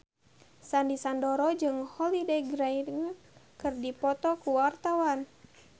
Sandy Sandoro jeung Holliday Grainger keur dipoto ku wartawan